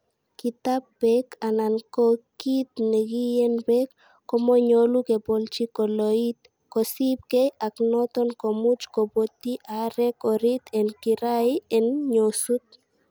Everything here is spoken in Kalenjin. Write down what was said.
Kitab beek anan ko kit nekiyeen beek, komonyolu kebolchi kolooit, kosiibge ak noton komuch kobotyi aarek orit en kirait en nyosut.